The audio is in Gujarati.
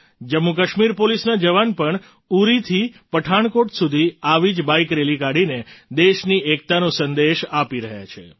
જમ્મુકાશ્મીર પોલીસના જવાન પણ ઉડીથી પઠાણકોટ સુધી આવી જ બાઇક રેલી કાઢીને દેશની એકતાનો સંદેશ આપી રહ્યા છે